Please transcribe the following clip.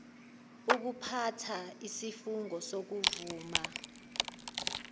ukuphatha isifungo sokuvuma